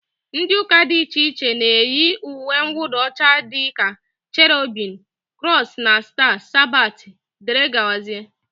Ndị ụka dị iche iche na-eyi uwemwụda ọcha dịka cherubim, krọs na staa, sabat, dg